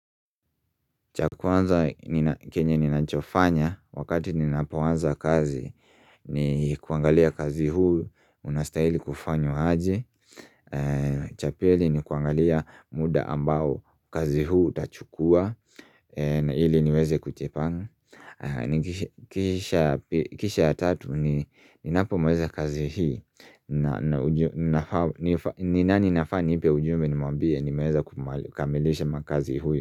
Cha kwanza kenye ninachofanya wakati ninapoanza kazi ni kuangalia kazi huu unastahili kufanywa aje cha pili ni kuangalia muda ambao kazi huu tachukua na ili niweze kujipanga Kisha ya tatu ninapo maliza kazi hii ni nani nafaa nipe ujumbe nimwambie nimeweza kumalisha makazi huyu.